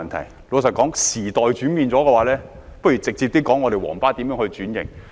坦白說，時代轉變了，不如直接說我們的"皇巴"如何轉型。